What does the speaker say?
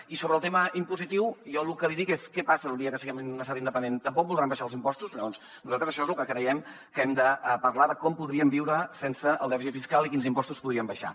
i sobre el tema impositiu jo lo que li dic és què passarà el dia que siguem un estat independent tampoc voldran abaixar els impostos llavors nosaltres això és de lo que creiem que hem de parlar de com podríem viure sense el dèficit fiscal i quins impostos podríem abaixar